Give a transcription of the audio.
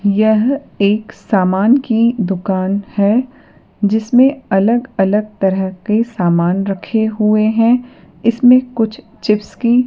यह एक सामान की दुकान है जिसमें अलग-अलग तरह के सामान रखे हुए है इसमें कुछ चिप्स की --